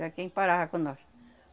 Era quem parava com nós.